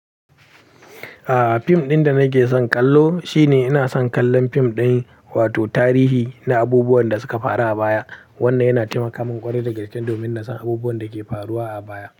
A'a, fim ɗin da nake son kallo shi ne ina son kallon fim ɗin, wato tarihi na abubuwan da suka faru a baya. Wannan yana taimaka min ƙware da gaske domin na san abubuwan da ke faruwa a baya.